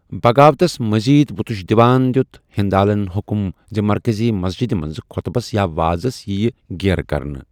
بغاوتس مزید وٗتش دِوان دِیُت ہندالن حکم زِ مرکٔزی مسجدِ منٛز خۄطبس یا وازس یِیہِ گیرٕ کرنہٕ۔